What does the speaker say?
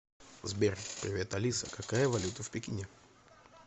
сбер привет алиса какая валюта в пекине